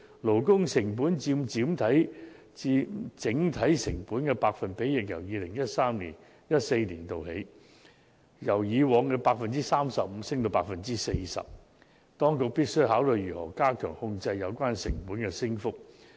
勞工成本佔整體成本的百分比亦已由 2013-2014 年度佔 35% 上升至 40%， 當局必須考慮如何加強控制有關成本的升幅。